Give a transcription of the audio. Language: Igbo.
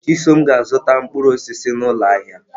Chisom ga-azụta mkpụrụ osisi n'ụlọ ahịa.